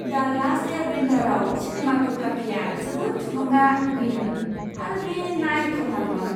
दा लास्ट एयारबेन्डारआव सिनेमेट'ग्राफीया जोबोद थुलुंगा गैयैमोन आरो बे नायथावना नङामोन!